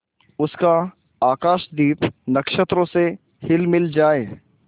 उसका आकाशदीप नक्षत्रों से हिलमिल जाए